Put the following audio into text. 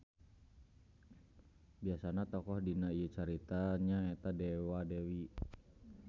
Biasana tokoh dina ieu carita nya eta dewa-dewi.